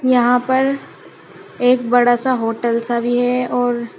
यहां पर एक बड़ा सा होटल सा भी है और--